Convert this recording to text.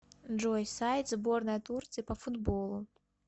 джой сайт сборная турции по футболу